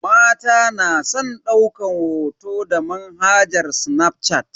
Mata na san daukan hoto da manhajar snafshat.